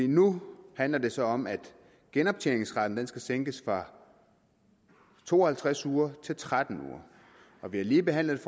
nu handler det så om at genoptjeningsretten skal sænkes fra to og halvtreds uger til tretten uger og vi har lige behandlet et